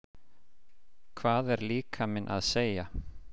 Hvað er líkaminn að segja